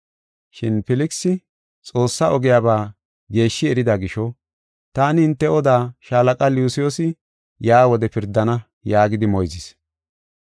Shin Filkisi Xoossaa ogiyaba geeshshi erida gisho, “Taani hinte oda shaalaqa Lusiyoosi yaa wode pirdana” yaagidi moyzis.